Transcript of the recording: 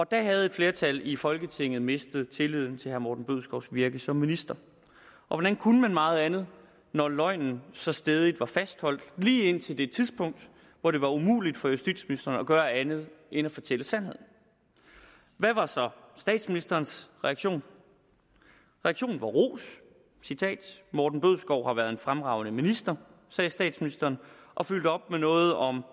da havde et flertal i folketinget mistet tilliden til herre morten bødskovs virke som minister hvordan kunne man meget andet når løgnen så stædigt var fastholdt lige indtil det tidspunkt hvor det var umuligt for justitsministeren at gøre andet end at fortælle sandheden hvad var så statsministerens reaktion reaktionen var ros morten bødskov har været en fremragende minister sagde statsministeren og fyldte op med noget om